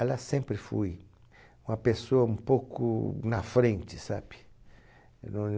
Ela sempre foi uma pessoa um pouco na frente, sabe?